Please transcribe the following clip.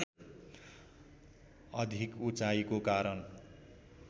अधिक उचाइको कारण